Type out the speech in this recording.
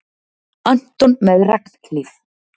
Anton með regnhlíf.